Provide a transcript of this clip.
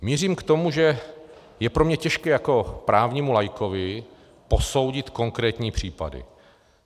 Mířím k tomu, že je pro mě těžké jako právnímu laikovi posoudit konkrétní případy.